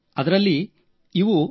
ಅದರಲ್ಲಿ ಶೇ